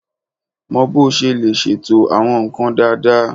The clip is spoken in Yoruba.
Mọ bó o ṣe lè ṣètò àwọn nǹkan dáadáa